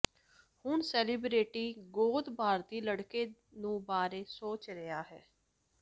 ਹੁਣ ਸੇਲਿਬ੍ਰਿਟੀ ਗੋਦ ਭਾਰਤੀ ਲੜਕੇ ਨੂੰ ਬਾਰੇ ਸੋਚ ਰਿਹਾ ਹੈ